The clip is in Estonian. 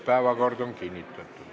Päevakord on kinnitatud.